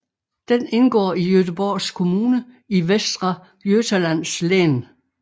Den indgår i Göteborgs kommune i Västra Götalands län